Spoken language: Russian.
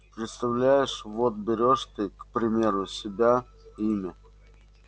представляешь вот берёшь ты к примеру себя имя